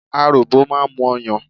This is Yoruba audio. Aròbò máa ń mu ọyàn.